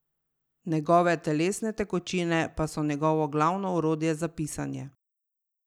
Njegove telesne tekočine pa so njegovo glavno orodje za pisanje.